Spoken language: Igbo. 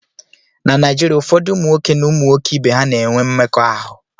na Naijiria, ụfọdụ ụmụ nwoke na ụmụ nwoke ibe ha na-enwe mmekọahụ